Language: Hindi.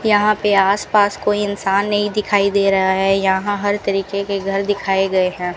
यहां पे आस पास कोई इंसान नहीं दिखाई दे रहा है यहां हर तरीके के घर दिखाए गए हैं।